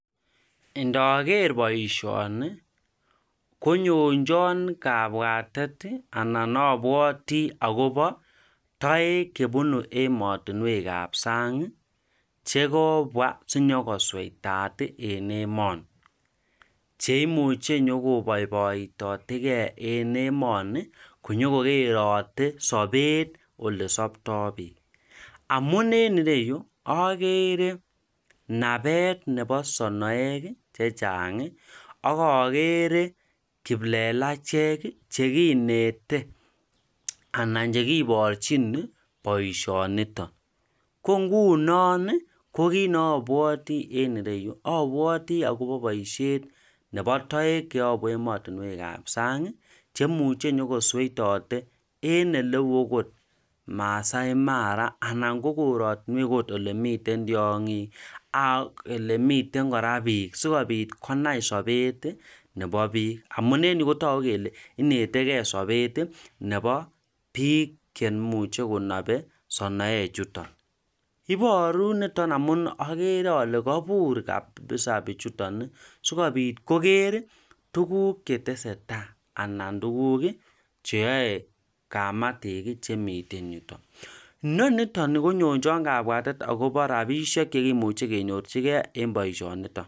ndageer boisioni konyonjon kabwatet anan abwati akobo taek chebunu ematunwek ap sang' chekobwa sinyokosweitat en emoni. cheimuche nyokobaibaitegei en emoni ko nyokokogeerote sabeet olesaptai biik. amune enreyu ageere nabet nebo sonoek chechang' akageere kiplelachek chekinete anan chekiboorchin boisionitok.ko ngunon ko kiit neabwati enreyu abwati akobo boisiet nebo taek chebo ematunwek ap sang' chemuche nyogosweitote en oleu akot Maasai mara, anan kooratunwek kot olemiten tiong'ik ak olemiten kora peek sikobiit konai sabet nebo biik. amuneni kotoku kole inetegei sabet nebo biik kenmuche konabe sonoechutok. ibooru niton amun ageere ale kabuur [s]kabisa biichuton sikobit kogeer tuguk chetesetai anan tuguk cheyae kamatik chemiten yutok. nonitoni konyonjon kabwatet akobo rabisiek chekemuchi kenyorchigei en boisionitok.